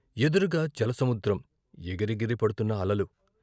ఎదురుగా జల సముద్రం, ఎగిరెగిరి పడ్తున్న అలలు.